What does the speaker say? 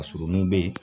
Ka surun nun bɛ yen